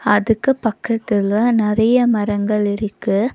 அதுக்கு பக்கத்துல நறிய மரங்கள் இருக்கு.